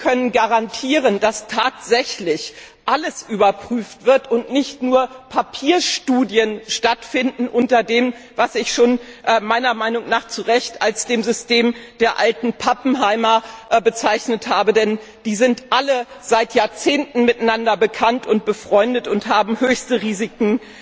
Sie können garantieren, dass tatsächlich alles überprüft wird und nicht nur Papierstudien stattfinden unter dem, was ich meiner Meinung nach zu Recht bereits als System der alten Pappenheimer bezeichnet habe, denn die Betreffenden sind alle seit Jahrzehnten miteinander bekannt und befreundet und haben immer höchste Risiken